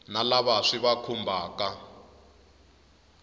na lava swi va khumbhaka